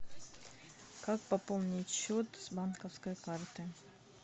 как пополнить счет с банковской карты